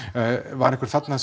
var einhver þarna